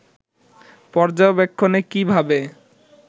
পর্যবেক্ষণে কী ভাবে